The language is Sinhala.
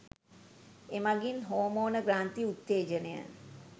එමගින් හෝමෝන ග්‍රන්ථි උත්තේජනය